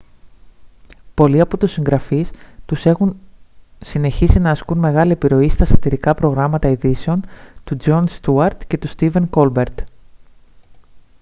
πολλοί από τους συγγραφείς τους έχουν συνεχίσει να ασκούν μεγάλη επιρροή στα σατιρικά προγράμματα ειδήσεων του τζον στιούαρτ και του στίβεν κόλμπερτ